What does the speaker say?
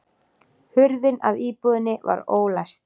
Hurðin að íbúðinni var ólæst